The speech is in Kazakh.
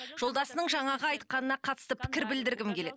жолдасының жаңағы айтқанына қатысты пікір білдіргім келеді